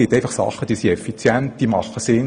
Es gibt Sachen, die sind effizient und sinnvoll.